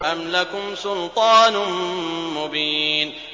أَمْ لَكُمْ سُلْطَانٌ مُّبِينٌ